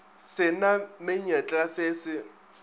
se na menyetla se se